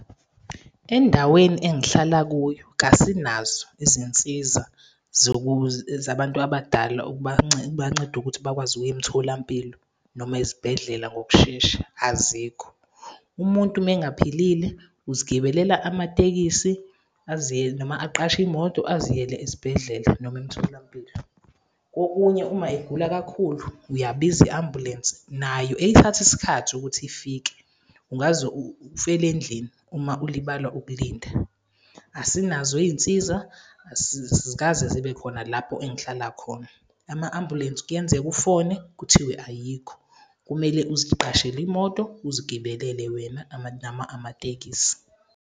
Endaweni engihlala kuyo, kasinazo izinsiza zabantu abadala, bancede ukuthi bakwazi ukuya emtholampilo noma ezibhedlela ngokushesha, azikho. Umuntu uma engaphilile uzigibelela amatekisi aziyele, noma aqashe imoto aziyele esibhedlela noma emtholampilo. Kokunye uma egula kakhulu, uyabiza i-ambulensi nayo ithatha isikhathi ukuthi ifike. Ungaze ufele endlini, uma ulibala ukulinda. Asinazo iy'nsiza azikaze zibe khona lapho engihlala khona. Ama-ambulensi, kuyenzeka ufone kuthiwe ayikho, kumele uziqashele imoto, uzigibelele wena amatekisi.